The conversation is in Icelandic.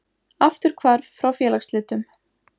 Afturhvarf frá félagsslitum